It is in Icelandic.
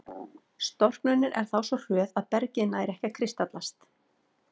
Storknunin er þá svo hröð að bergið nær ekki að kristallast.